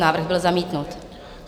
Návrh byl zamítnut.